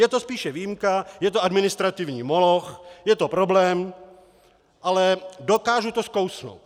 Je to spíše výjimka, je to administrativní moloch, je to problém, ale dokážu to skousnout.